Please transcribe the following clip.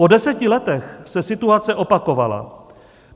Po deseti letech se situace opakovala.